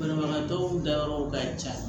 Banabagatɔw ka yɔrɔ ka ca